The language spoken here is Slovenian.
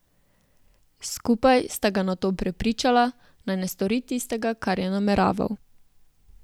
Skupaj sta ga nato prepričala, naj ne stori tistega, kar je nameraval.